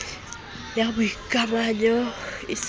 ya boikamanyo e se e